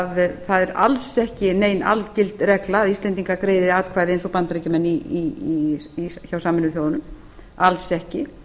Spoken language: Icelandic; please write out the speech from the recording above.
að það er alls ekki nein algild regla að íslendingar greiði atkvæði eins og bandaríkjamenn hjá sameinuðu þjóðunum alls ekki